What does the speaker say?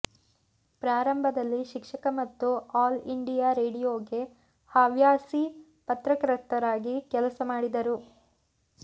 ಪ್ರಾರಂಭದಲ್ಲಿ ಶಿಕ್ಷಕ ಮತ್ತು ಆಲ್ ಇಂಡಿಯಾ ರೇಡಿಯೋಗೆ ಹವ್ಯಾಸಿ ಪತ್ರಕರ್ತರಾಗಿ ಕೆಲಸ ಮಾಡಿದರು